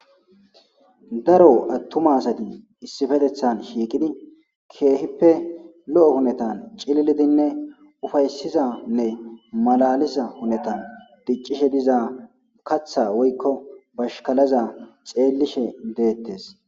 Daro attuma asadi issifetethan shiiqidi keehippe lo7o hunetan cililidinne ufaysizanne malaliza hunetan diccishe diza katha woykko bashkalaza xeellishe deettes